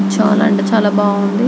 చాలా అంటే చాలా బాగుంది --